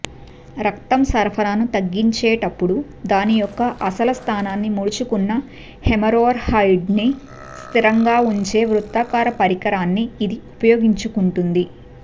రక్తం సరఫరాను తగ్గించేటప్పుడు దాని యొక్క అసలు స్థానానికి ముడుచుకున్న హెమోరోర్హాయిడ్ను స్థిరంగా ఉంచే వృత్తాకార పరికరాన్ని ఇది ఉపయోగించుకుంటుంది